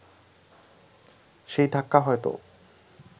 সেই ধাক্কা হয়তো